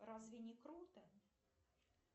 разве не круто